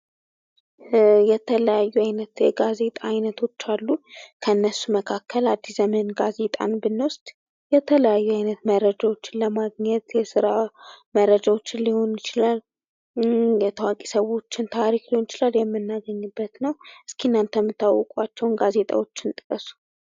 የተለያዩ አይነት የጋዜጣ አይነቶች አሉ። ከእነሱ መካከል አድስ ዘመን ጋዜጣን ብንወስድ የተለያዩ አይነት መረጃውን ለማግኘት፤ የስራ መረጃዎችን ሊሆን ይችላል፣ የታዋቂ ሰው መረጃዎችን ሊሆን ይችላል የምናገኝበት ነው። እስኪ እናንተ የምታውቋቸውን ጋዜጣወችን ጥቀሱ።